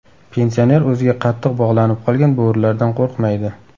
Pensioner o‘ziga qattiq bog‘lanib qolgan bo‘rilardan qo‘rqmaydi.